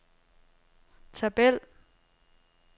tabel